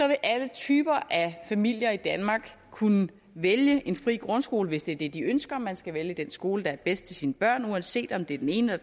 vil alle typer af familier i danmark kunne vælge en fri grundskole hvis det er det de ønsker man skal vælge den skole der er bedst til sine børn uanset om det er den ene